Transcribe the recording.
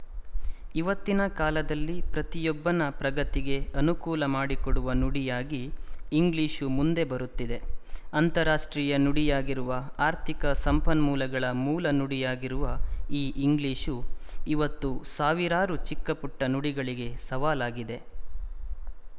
ಇವತ್ತಿನ ಕಾಲದಲ್ಲಿ ಪ್ರತಿ ಯೊಬ್ಬನ ಪ್ರಗತಿಗೆ ಅನುಕೂಲ ಮಾಡಿಕೊಡುವ ನುಡಿಯಾಗಿ ಇಂಗ್ಲಿಶು ಮುಂದೆ ಬರುತ್ತಿದೆ ಅಂತಾರಾಷ್ಟ್ರೀಯ ನುಡಿಯಾಗಿರುವ ಆರ್ಥಿಕ ಸಂಪನ್ಮೂಲಗಳ ಮೂಲ ನುಡಿಯಾಗಿರುವ ಈ ಇಂಗ್ಲಿಶು ಇವತ್ತು ಸಾವಿರಾರು ಚಿಕ್ಕಪುಟ್ಟ ನುಡಿಗಳಿಗೆ ಸವಾಲಾಗಿದೆ